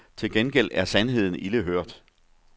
Til gengæld er sandheden ilde hørt.